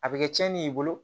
A bɛ kɛ tiɲɛni y'i bolo